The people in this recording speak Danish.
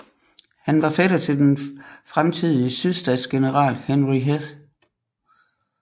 Han var fætter til den fremtidige sydstatsgeneral Henry Heth